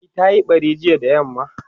e ta Yi ɓari jiya da yamma